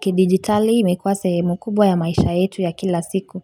kidigitali imekuwa sehemu kubwa ya maisha yetu ya kila siku